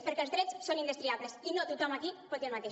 perquè els drets són indestriables i no tothom aquí pot dir el mateix